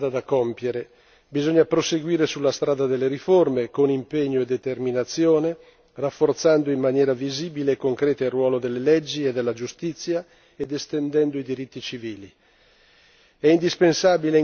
Ora c'è un altro pezzo di strada da compiere bisogna proseguire sulla strada delle riforme con impegno e determinazione, rafforzando in maniera visibile e concreta il ruolo delle leggi e della giustizia ed estendendo i diritti civili.